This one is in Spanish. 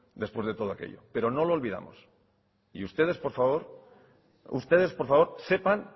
después de todo aquello pero no lo olvidamos y ustedes por favor ustedes por favor sepan